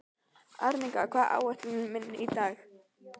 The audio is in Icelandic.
Arnika, hvað er á áætluninni minni í dag?